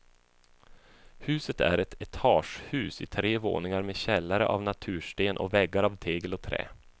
Huset är ett etagehus i tre våningar med källare av natursten och väggar av tegel och trä.